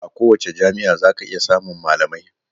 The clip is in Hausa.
A kowace jami'a zaka iya samun malamai.